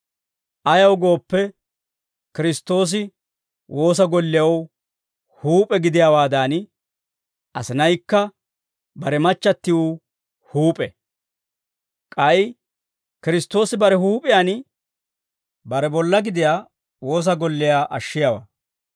Ayaw gooppe, Kiristtoosi woosa gollew huup'e gidiyaawaadan, asinaykka bare machchattiw huup'e; k'ay Kiristtoosi bare huup'iyaan, bare bollaa gidiyaa woosa golliyaa ashshiyaawaa.